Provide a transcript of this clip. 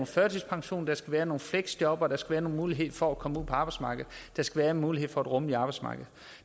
førtidspension der skal være nogle fleksjob og der skal være en mulighed for at komme ud på arbejdsmarkedet der skal være en mulighed for at rummeligt arbejdsmarked